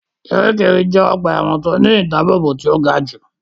Kiríkirì jẹ́ ọgbà ẹ̀wọ̀n tí ó ní ìdábóbò tí ó ga jù